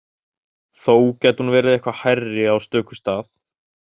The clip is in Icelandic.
Þó gæti hún verið eitthvað hærri á stöku stað.